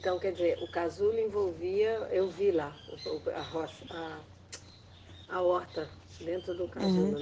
Então, quer dizer, o casulo envolvia, eu vi lá o, o, a rocha, a, a horta dentro do casulo